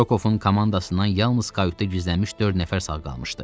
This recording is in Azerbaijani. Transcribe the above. Rokovun komandasından yalnız kayutda gizlənmiş dörd nəfər sağ qalmışdı.